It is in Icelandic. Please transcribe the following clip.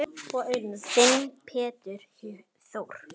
Þinn Pétur Þór.